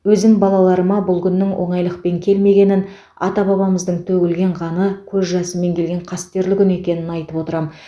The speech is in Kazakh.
өзім балаларыма бұл күннің оңайлықпен келмегенін ата бабамыздың төгілген қаны көз жасымен келген қастерлі күн екенін айтып отырам